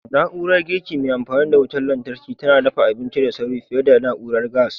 Na'urar girki mai amfani da wutar lantarki tana dafa abinci da sauri fiye da na'urar gas.